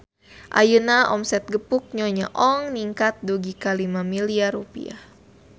Ayeuna omset Gepuk Nyonya Ong ningkat dugi ka 5 miliar rupiah